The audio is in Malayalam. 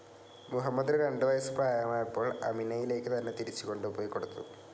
മുഹമ്മദിന് രണ്ടു വയസ്സ് പ്രായമായപ്പോൾ അമിനയിലേക്ക് തന്നെ തിരിച്ചുകൊണ്ടുപോയി കൊടുത്തു.